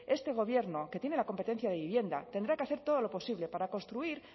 este gobierno que tiene la competencia de vivienda tendrá que hacer todo lo posible para construir